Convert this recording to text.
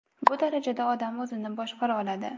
Bu darajada odam o‘zini boshqara oladi.